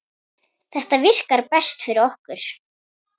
Þetta virkar best fyrir okkur.